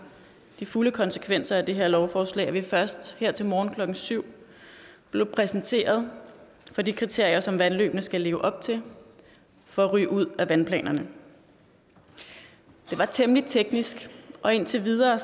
de fulde konsekvenser af det her lovforslag at vi først her til morgen klokken syv blev præsenteret for de kriterier som vandløbene skal leve op til for at ryge ud af vandplanerne det var temmelig teknisk og indtil videre